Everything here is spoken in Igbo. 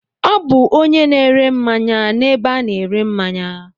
Ọ bụ onye na-ere mmanya n'ebe a na-ere mmanya.